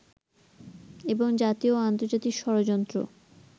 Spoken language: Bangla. এবং জাতীয় ও আন্তর্জাতিক ষড়যন্ত্র